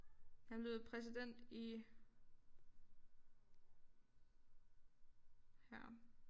Han blev præsident i her